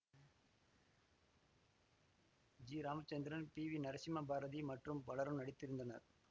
G Ramachandran P V Narasimha Bharathi மற்றும் பலரும் நடித்திருந்தனர்